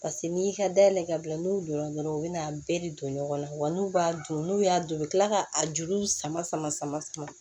Paseke n'i y'i ka dayɛlɛ ka bila n'u donna dɔrɔn u bɛ n'a bɛɛ de don ɲɔgɔn na wa n'u b'a don n'u y'a don u bɛ tila k'a juruw sama sama sama sama